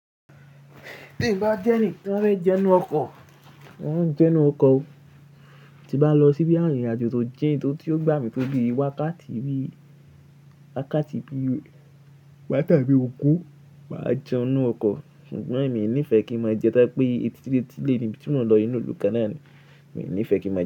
Bí n bá jẹ́ ẹni, bi n ba fe jẹun ninú ọkọ̀, mọ mo n jẹun ninú ọkọ̀ o, tí bá n lọ síbi ìrìnàjò tó jìn tó tí ó gbà mí tó bíi wákàtí bíi wákàtí bíi wákàtí bi ogún, mà á jẹun ninú ọkọ̀. Ṣùgbọ́n mi ní ìfẹ́ kí n máa jẹun tọ́ba je pé ètilé ni ibi ti mo n lo inu ìlú kanna ni, mi ní ìfẹ́ kí n máa jẹ́